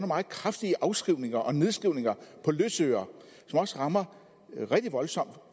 meget kraftige afskrivninger og nedskrivninger på løsøre som også rammer rigtig voldsomt